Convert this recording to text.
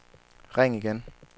ring igen